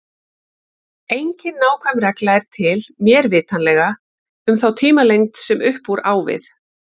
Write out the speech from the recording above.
Engin nákvæm regla er til, mér vitanlega, um þá tímalengd sem upp úr á við.